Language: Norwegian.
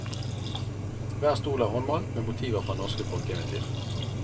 Hver stol er håndmalt med motiver fra norske folkeeventyr.